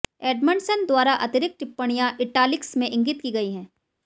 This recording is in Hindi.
एडमंडसन द्वारा अतिरिक्त टिप्पणियां इटालिक्स में इंगित की गई हैं